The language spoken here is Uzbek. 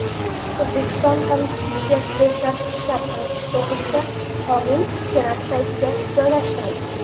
O‘zbekiston Konstitutsiyasiga o‘zgartirishlar kiritish to‘g‘risida qonun Senat saytiga joylashtirildi.